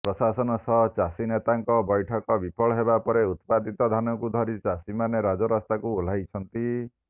ପ୍ରଶାସନ ସହ ଚାଷୀ ନେତାଙ୍କ ବୈଠକ ବିଫଳ ହେବାପରେ ଉତ୍ପାଦିତ ଧାନକୁ ଧରି ଚାଷୀମାନେ ରାଜରାସ୍ତାକୁ ଓହ୍ଲାଇଛନ୍ତି